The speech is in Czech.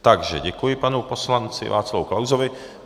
Takže děkuji panu poslanci Václavu Klausovi.